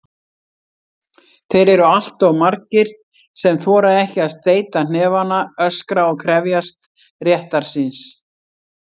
Þeir eru alltof margir sem þora ekki að steyta hnefana, öskra og krefjast réttar síns.